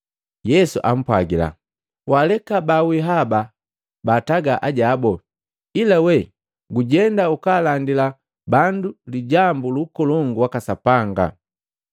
Yesu ampwagila, “Waaleka baawii haba baataga ajabu, ila we gujenda ukalandila bandu lijambu lu Ukolongu waka Sapanga.”